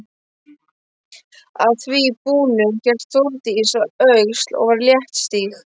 Að því búnu hélt Þórdís að Öxl og var léttstíg.